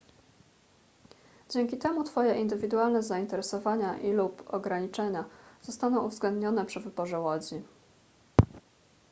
dzięki temu twoje indywidualne zainteresowania i/lub ograniczenia zostaną uwzględnione przy wyborze łodzi